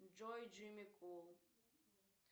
джой джимми кул